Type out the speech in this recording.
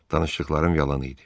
Danışdıqlarım yalan idi.